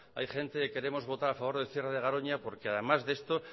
hay gente que queremos votar a favor del cierre de garoña porque además de esto